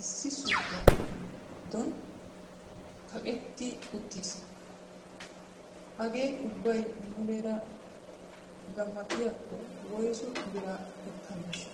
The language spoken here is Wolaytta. issi suuqqiya giddon kaqqetti uttiis. Hagee ubbay muleera gamattiyakko woyssu bira ekkaneshsha?